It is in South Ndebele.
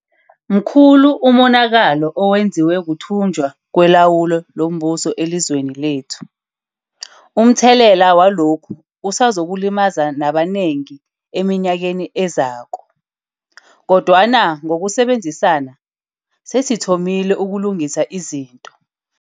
Mkhulu umonakalo owenziwe kuthunjwa kwelawulo lombuso elizweni lethu. Umthelela walokhu usazokulimaza nabanengi eminyakeni ezako. Kodwana ngokusebenzisana, sesithomile ukulungisa izinto.